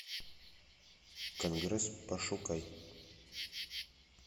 конгресс пошукай